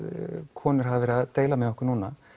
konur hafa verið að deila með okkur núna